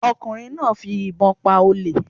Ọ̀kùnrin náà fi ìbọn pa olè